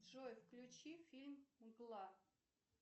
джой включи фильм мгла